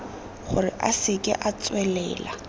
gore a seke a tswelela